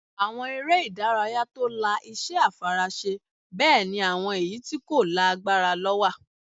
Àwọn eré ìdárayá tó la iṣẹ́ àfaraṣe bẹ́ẹ̀ ni àwọn èyí tí kò la agbára lọ wà